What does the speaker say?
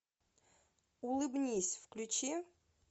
улыбнись включи